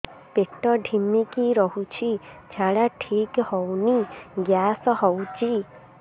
ପେଟ ଢିମିକି ରହୁଛି ଝାଡା ଠିକ୍ ହଉନି ଗ୍ୟାସ ହଉଚି